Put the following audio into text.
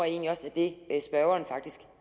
egentlig også er det spørgeren faktisk